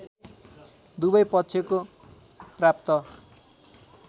दुवै पक्षको प्राप्त